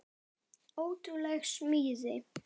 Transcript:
Ótrúleg smíð.